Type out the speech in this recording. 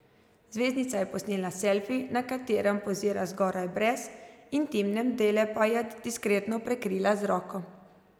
Zvezdnica je posnela selfi, na katerem pozira zgoraj brez, intimne dele pa je diskretno prekrila z roko.